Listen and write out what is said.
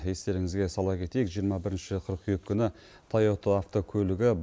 естеріңізге сала кетейік жиырма бірінші қыркүйек күні тайота автокөлігі